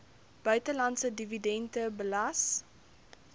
buitelandse dividende belas